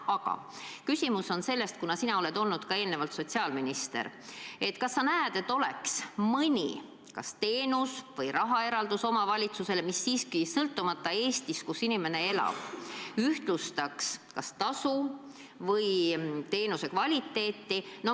Aga küsimus on selles, kas sina, kes oled olnud ka sotsiaalminister, näed, et oleks mõni teenus või rahaeraldus omavalitsusele – sõltumata piirkonnast, kus inimene elab –, mis ühtlustaks kas tasu või teenusekvaliteeti.